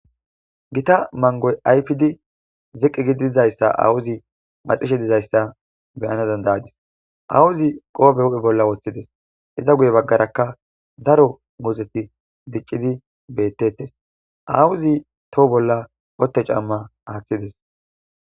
gita mangoy aypidi ziqi gidi dizayssa awuzi maxishe dizayssa beyana dandayadis awuzi qoobe huphe bolla woththides iza guye baggarakka daro muzeti diccidi beetetes awuzi toho bolla otte camma aaththides